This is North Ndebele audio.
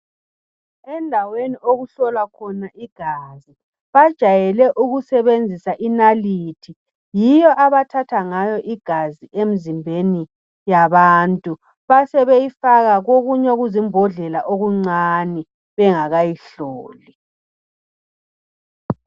Endaweni okuhlolwa khona igazi bajayele ukusebenzisa inalithi eyiyo abathatha igazi emzimbeni yabantu besebeyifaka kokunye okuzimbodlela okuncane bengakayihloli.